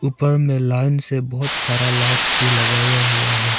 ऊपर में लाइन से बहुत सारा लाइट्स भी लगाया हुआ है।